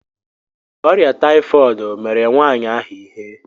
Ọrịa taịfọd mere nwaanyị ahụ ihe.